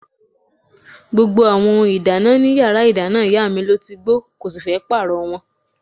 Gbogbo àwọn ohun ìdáná in yàrá ìdáná ìyá mi ló ti gbó, kò sì fẹ́ pààrọ̀ wọn.